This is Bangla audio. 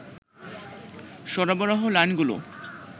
সরবরাহ লাইনগুলো